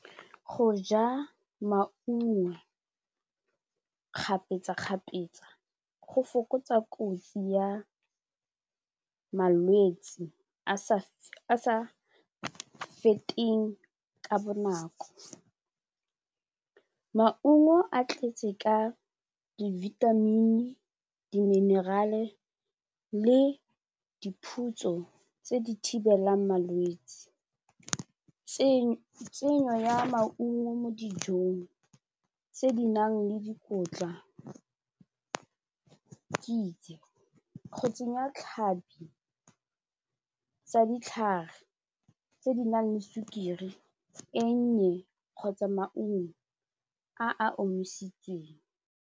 Go ja maungo kgapetsakgapetsa go fokotsa kotsi ya malwetsi a sa feteng ka bonako, maungo a tletse ka di-vitamin di-mineral-e le diphutso tse di thibelang malwetsi. Tsenyo ya maungo mo dijong tse di nang le dikotla kitse, go tsenya tlhapi tsa ditlhare tse di nang le sukiri e nnye kgotsa maungo a a omisitsweng.